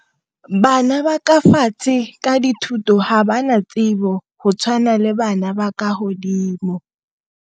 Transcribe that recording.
Bana ba ka ka dithuto ga ba na tsebo go tshwana le bana ba godimo.